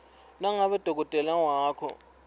nangabe dokotela wakho